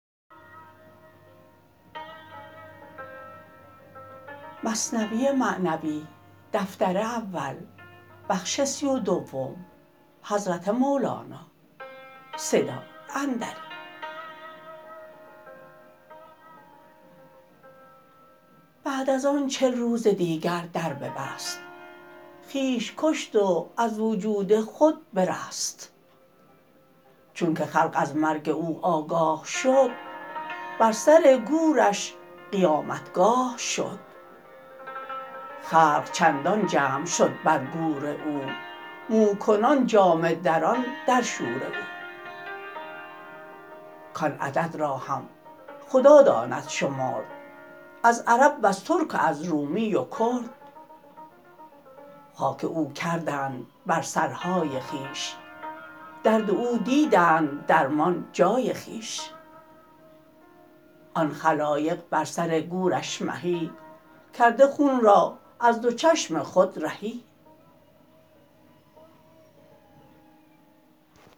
بعد از آن چل روز دیگر در ببست خویش کشت و از وجود خود برست چونک خلق از مرگ او آگاه شد بر سر گورش قیامتگاه شد خلق چندان جمع شد بر گور او مو کنان جامه دران در شور او کان عدد را هم خدا داند شمرد از عرب وز ترک و از رومی و کرد خاک او کردند بر سرهای خویش درد او دیدند درمان جای خویش آن خلایق بر سر گورش مهی کرده خون را از دو چشم خود رهی